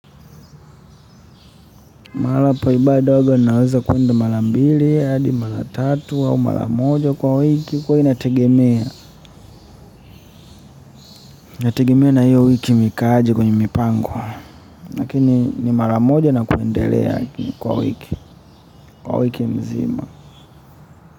Mara poibada ndogo naweza kuenda mara mbili, hadi mara tatu, au mara moja kwa wiki huwa inategemea. Inategemea na hiyo wiki imekaa aje kwenye mipango. Lakini ni mara moja na kuendelea kwa wiki, kwa wiki mzima.